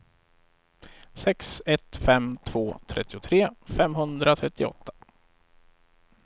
sex ett fem två trettiotre femhundratrettioåtta